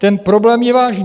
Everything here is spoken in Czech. Ten problém je vážný.